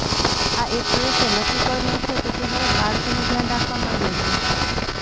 આ એક્ટ્રેસે નક્કી કર્યું છે કે તે હવે બાળકોનું ધ્યાન રાખવા માંગે છે